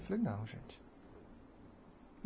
Eu falei, não, gente.